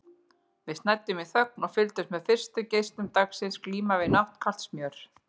Við snæddum í þögn og fylgdumst með fyrstu geislum dagsins glíma við náttkalt smjör.